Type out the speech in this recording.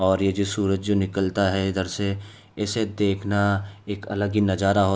और ये जो सूरज जो निकलता है इधर से इसे देखना एक अलग ही नजारा होता --